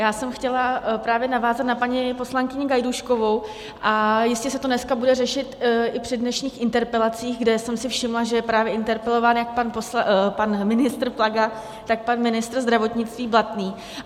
Já jsem chtěla právě navázat na paní poslankyni Gajdůškovou a jistě se to dneska bude řešit i při dnešních interpelacích, kde jsem si všimla, že je právě interpelován jak pan ministr Plaga, tak pan ministr zdravotnictví Blatný.